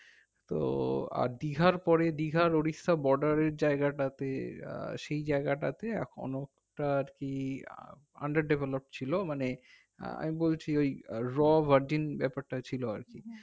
তো আর দীঘার পরে দীঘার ওড়িষ্যার border এর জায়গাটাতে আহ সেই জায়গাটাতে এখন একটা আর কি underdevelope ছিল মানে আহ আমি বলছি ওই র ভাডিন ব্যাপারটা ছিল আর কি